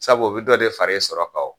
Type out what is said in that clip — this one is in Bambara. Sabu o bi dɔ de fara i sɔrɔ kan wo.